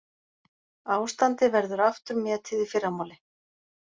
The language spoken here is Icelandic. Ástandi verður aftur metið í fyrramálið